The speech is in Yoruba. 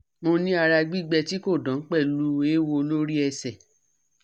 Moni ara gbigbe ti ko dan pelu ewo lori ese